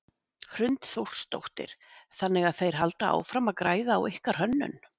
Hrund Þórsdóttir: Þannig að þeir halda áfram að græða á ykkar hönnun?